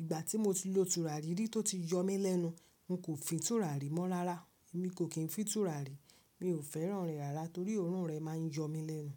Ìgbà tí mo ti lo tùràrí rí tó ti yọ mí lẹ́nu, n kò fin tùràrí mọ́ rárá. Èmi kò kìí fin tùràrí, mi ò fẹ́ràn rẹ̀ rárá torí òórùn rẹ̀ máa ń yọ mí lẹ́nu.